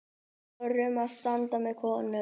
Þorum að standa með konum.